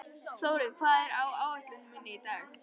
Þórinn, hvað er á áætluninni minni í dag?